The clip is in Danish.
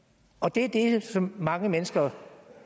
det er det som mange mennesker